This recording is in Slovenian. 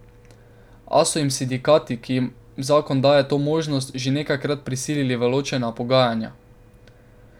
A so jih sindikati, ki jim zakon daje to možnost, že nekajkrat prisilili v ločena pogajanja.